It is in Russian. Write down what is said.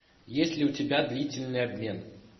есть ли у тебя длительный обмен